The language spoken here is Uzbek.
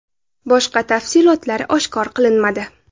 Boshqa tafsilotlar oshkor qilinmadi.